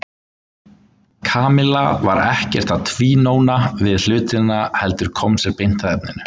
Kamilla var ekkert að tvínóna við hlutina heldur kom sér beint að efninu.